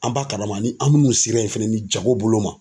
An b'a kalama ni an minnu sera yen fɛnɛ ni jago bolo ma.